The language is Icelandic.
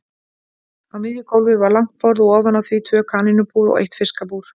Á miðju gólfi var langt borð og ofan á því tvö kanínubúr og eitt fiskabúr.